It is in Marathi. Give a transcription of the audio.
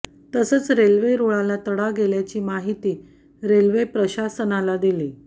तसंच रेल्वे रुळाला तडा गेल्याची माहिती रेल्वे प्रशासनाला दिली